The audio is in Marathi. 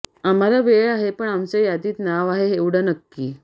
आम्हाला वेळ आहे पण आमचं यादीत नाव आहे एवढ नक्की